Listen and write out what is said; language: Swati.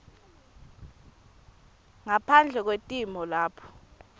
ngaphandle kwetimo lapho